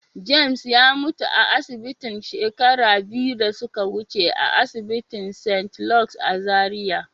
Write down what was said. "James" ya mutu a asibitin shekaru biyu da ya wuce a asinitin st. Luke's" a Zaria.